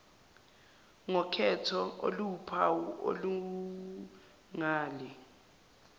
ngokhetho oluwuphawu olungale